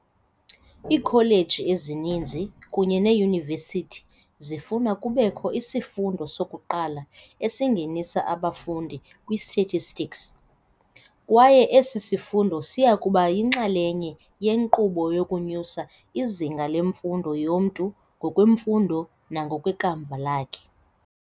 Iikholeji ezininzi kunye neeYunivesithi zifuna kubekho isifundo sokuqala esingenisa abafundi kwi-statistics, kwaye esi sifundo siyakuba yinxalenye yenkqubo yokunyusa izinga lemfundo yomntu ngokwemfundo nangokwekamva lakhe.